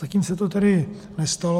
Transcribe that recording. Zatím se to tady nestalo.